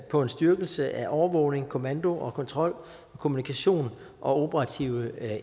på en styrkelse af overvågning kommando og kontrol kommunikation og operative